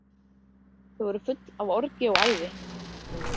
Þau voru full af orgi og æði.